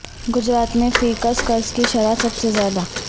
گجرات میں فی کس قرض کی شرح سب سے زیادہ